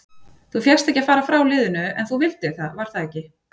Þú fékkst ekki að fara frá liðinu en þú vildir það var það ekki?